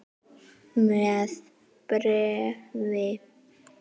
Er hún áfeng?